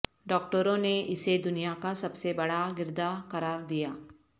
ڈاکٹروں نے اسے دنیا کا سب سے بڑا گردہ قرار دیا